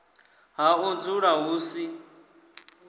ha u dzula hu si